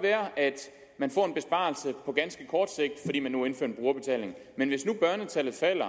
være at man får en besparelse på ganske kort sigt fordi man nu indfører en brugerbetaling men hvis nu børnetallet falder